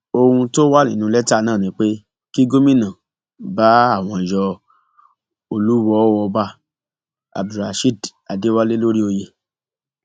ohun tó wà nínú lẹtà náà ni pé kí gómìnà bá àwọn yọ olùwọọ ọba abdulrasheed adéwálé lórí oyè